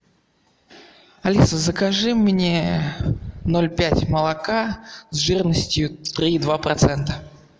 алиса закажи мне ноль пять молока с жирностью три и два процента